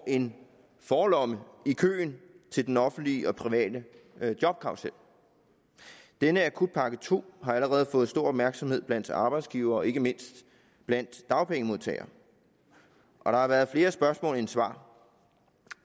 en forlomme i køen til den offentlige og private jobkarrusel denne akutpakke to har allerede fået stor opmærksomhed blandt arbejdsgivere og ikke mindst blandt dagpengemodtagere og der har været flere spørgsmål end svar